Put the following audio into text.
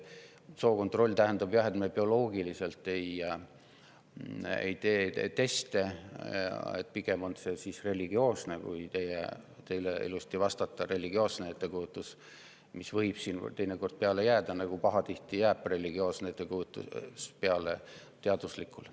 Jah, bioloogilisi teste me ei tee, pigem on see – kui teile ilusasti vastata – religioosne ettekujutus, mis võib siin teinekord peale jääda, nagu pahatihti jääb religioosne ettekujutus peale teaduslikule.